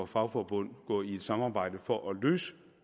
fagforbund går ind i et samarbejde for at løse